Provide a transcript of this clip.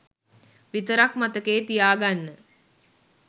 විතරක් මතකයේ තියාගන්න.